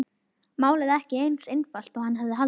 Málið ekki eins einfalt og hann hafði haldið.